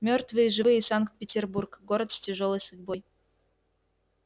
мёртвые и живые санкт-петербург город с тяжёлой судьбой